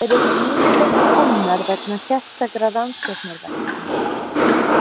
Þær eru yfirleitt til komnar vegna sérstakra rannsóknaverkefna.